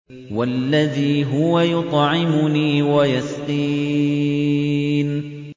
وَالَّذِي هُوَ يُطْعِمُنِي وَيَسْقِينِ